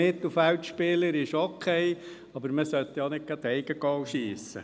Mittelfeldspieler ist okay, aber man sollte ja auch nicht ein Eigengoal schiessen.